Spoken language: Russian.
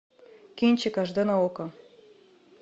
кинчик аш д на окко